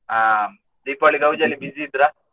ಅಹ್ Deepavali ಗೌಜಿಯಲ್ಲಿ busy ಇದ್ರಾ?